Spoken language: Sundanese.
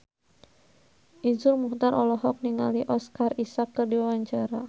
Iszur Muchtar olohok ningali Oscar Isaac keur diwawancara